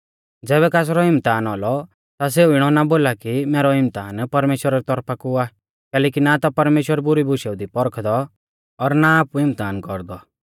ज़ैबै कासरौ इम्तहान औलौ ता सेऊ इणौ ना बोला कि मैरौ इम्तहान परमेश्‍वरा री तौरफा कु आ कैलैकि ना ता परमेश्‍वर बुरी बुशेऊ दी पौरखदौ और ना आपु इम्तहान कौरदौ